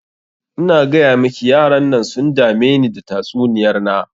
In gayamiki yaran nan sun dameni da tatsuniyar na.